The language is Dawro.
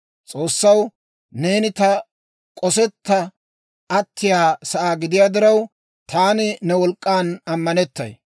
S'oossaw, neeni taw k'osetta attiyaa sa'aa gidiyaa diraw, taani ne wolk'k'an ammanettay.